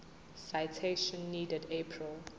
citation needed april